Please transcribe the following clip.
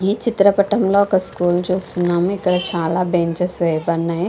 ఈ చిత్రపటంలో ఒక స్కూల్ చూస్తున్నాము ఇక్కడ చాలా బెంచెస్ వేయబడ్నాయి.